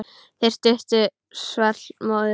Þeirri stuttu svall móður.